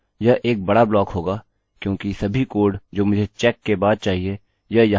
यह एक बड़ा ब्लॉक होगा क्योंकि सभी कोड जो मुझे चेक के बाद चाहिए यह यहाँ पर चले जायेंगे